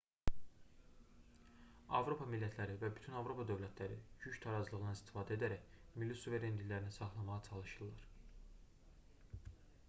avropa millətləri və bütün avropa dövlətləri güc tarazlığından istifadə edərək milli suverenliklərini saxlamağa çalışırlar